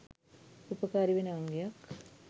උපකාරී වෙන අංගයක්.